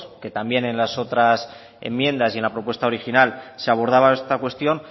que también en las otras enmiendas y en la propuesta original se abordaba esta cuestión